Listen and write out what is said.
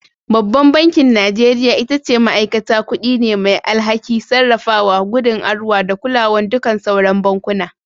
Babban bankin Najeriya ita ce ma'aikata kuɗi ne mai alhaki, sarrafawa, gudanarwa da kulawan duƙan sauran bankuna.